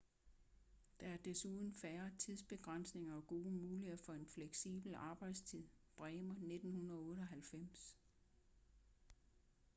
der er desuden færre tidsbegrænsninger og gode muligheder for en fleksibel arbejdstid. bremer 1998